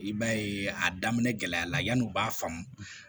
I b'a ye a daminɛ gɛlɛya la yan'o b'a faamu